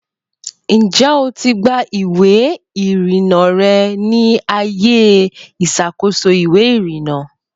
Ǹjẹ́ o ti gba ìwé-ìrìnà rẹ ní ààyè ìṣàkóso ìwé-ìrìnà?